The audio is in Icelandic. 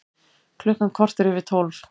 Klukkan korter yfir tólf